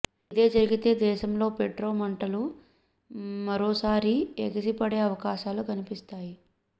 ఇదే జరిగితే దేశంలో పెట్రో మంటలు మరోసారి ఎగిసిపడే అవకాశాలు కనిపిస్తాయి